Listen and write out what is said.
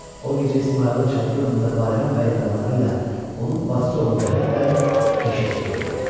O gecə İsmayılın çadırı önündə Bayram bəylə adamları ilə onun bacısı oğlu Rəhim bəy keşiy çəkirdi.